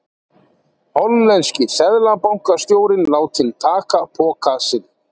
Hollenski seðlabankastjórinn látinn taka poka sinn